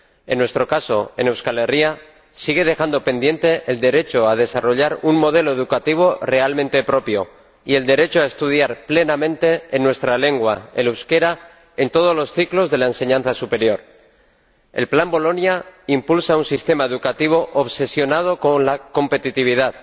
En nuestro caso, en Euskal Herria, sigue dejando pendiente el derecho a desarrollar un modelo educativo realmente propio y el derecho a estudiar plenamente en nuestra lengua, el euskera, en todos los ciclos de la enseñanza superior. El plan Bolonia impulsa un sistema educativo obsesionado con la competitividad,